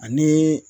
Ani